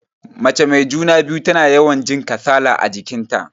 Mace mai juna-biyu tana yawan jin kasala a jikin ta.